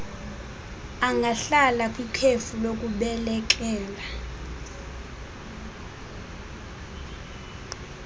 angahlala kwikhefu lokubeleka